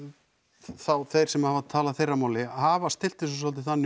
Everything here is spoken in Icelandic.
þá þeir sem hafa talað þeirra máli hafa stillt þessu svolítið þannig